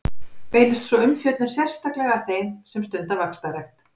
Beinist sú umfjöllun sérstaklega að þeim sem stunda vaxtarrækt.